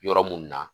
Yɔrɔ mun na